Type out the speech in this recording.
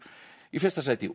í fyrsta sæti í